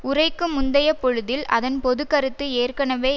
உரைக்கு முந்தைய பொழுதில் அதன் பொது கருத்து ஏற்கனவே